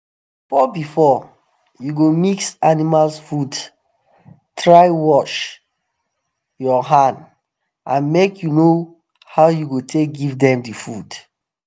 before before u go mix animals food try wash u hand and make u know how u go take give them the food